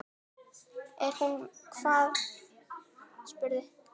Er hún hvað, spurði